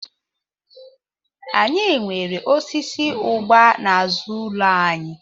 Anyị nwere osisi ụgba n'azụ ụlọ anyị.